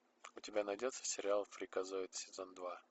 у тебя найдется сериал фриказоид сезон два